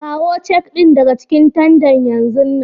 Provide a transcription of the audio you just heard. Kawo cak din daga cikin tandan yanzun nan!